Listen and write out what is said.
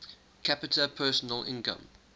capita personal income